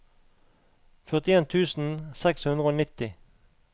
førtien tusen seks hundre og nitti